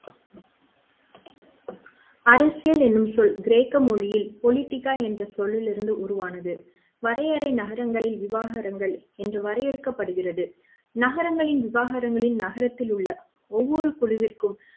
அரசியல் என்னும் சொல் கிரேக்க மொழியில் பொலிடிக்கா என்ற சொல்லிலிருந்து உருவானது வரையறை நகரங்களில் விவாகரங்கள் இன்று வரையறுக்கப்படுகிறது நகரங்களின் விவாகரங்களில் நகரத்தில் உள்ள ஒவ்வொரு குழுவிற்கும்